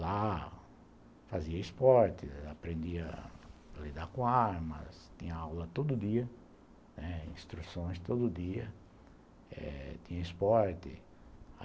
Lá fazia esporte, aprendia a lidar com armas, tinha aula todo dia, né, instruções todo dia, tinha esporte.